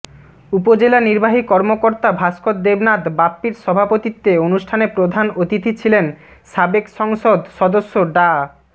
উপজেলা নির্বাহী কর্মকর্তা ভাস্কর দেবনাথ বাপ্পির সভাপতিত্বে অনুষ্ঠানে প্রধান অতিথি ছিলেন সাবেক সংসদ সদস্য ডা